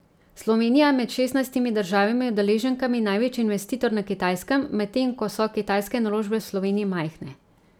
Slovenija je med šestnajstimi državami udeleženkami največji investitor na Kitajskem, medtem ko so kitajske naložbe v Sloveniji majhne.